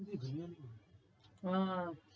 ওহ